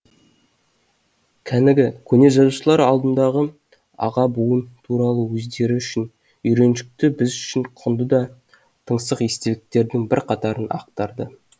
кәнігі көне жазушылар алдындағы аға буын туралы өздері үшін үйреншікті біз үшін құнды да тыңсық естеліктердің бірқатарын ақтарды